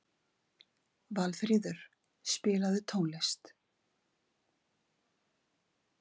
Valfríður, spilaðu tónlist.